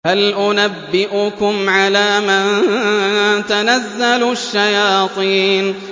هَلْ أُنَبِّئُكُمْ عَلَىٰ مَن تَنَزَّلُ الشَّيَاطِينُ